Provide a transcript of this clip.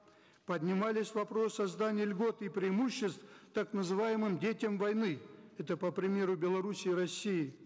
поднимались вопросы создания льгот и преимуществ так называемым детям войны это по примеру белоруссии и россии